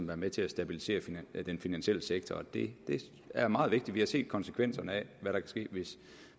være med til at stabilisere den den finansielle sektor og det er meget vigtigt vi har set konsekvenserne hvad der kan ske